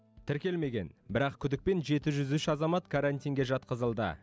тіркелмеген бірақ күдікпен жеті жүз үш азамат карантинге жатқызылды